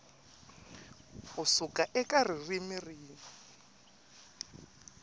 ku suka eka ririmi rin